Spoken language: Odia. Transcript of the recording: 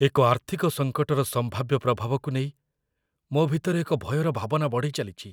ଏକ ଆର୍ଥିକ ସଙ୍କଟର ସମ୍ଭାବ୍ୟ ପ୍ରଭାବକୁ ନେଇ ମୋ ଭିତରେ ଏକ ଭୟର ଭାବନା ବଢ଼ିଚାଲିଛି।